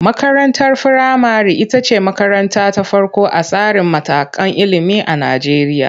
Makarantar firamare ita ce makaranta ta farko a tsarin matakan ilimi a Najeriya.